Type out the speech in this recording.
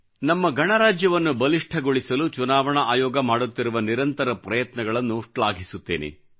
ನಮ್ಮ ಗಣರಾಜ್ಯವನ್ನು ಬಲಿಷ್ಠಗೊಳಿಸಲು ಚುನಾವಣಾ ಆಯೋಗ ಮಾಡುತ್ತಿರುವ ನಿರಂತರ ಪ್ರಯತ್ನಗಳನ್ನು ಶ್ಲಾಘಿಸುತ್ತೇನೆ